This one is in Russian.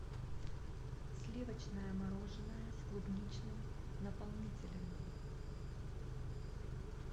сливочное мороженое с клубничным наполнителем